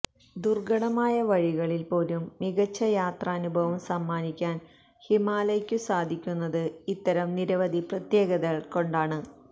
ദുര്ഘടമായ വഴികളില് പോലും മികച്ച യാത്രാനുഭവം സമ്മാനിക്കാന് ഹിമാലയ്ക്കു സാധിക്കുന്നത് ഇത്തരം നിരവധി പ്രത്യേകതകള് കൊണ്ടാണ്